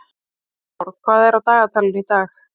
Sólborg, hvað er á dagatalinu í dag?